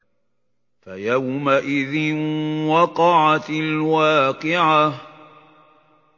فَيَوْمَئِذٍ وَقَعَتِ الْوَاقِعَةُ